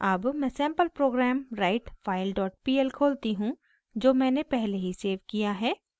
अब मैं sample program writefilepl खोलती हूँ जो मैंने पहले ही सेव किया है